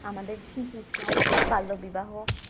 আমাদের শিশু শ্রম বাল্য বিবাহ